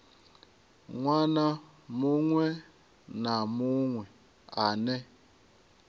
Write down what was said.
ṅwana muṅwe na muṅwe ane